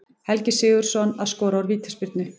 Helgi Sigurðsson að skora úr vítaspyrnu.